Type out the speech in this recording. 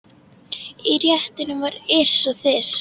Í réttunum var ys og þys.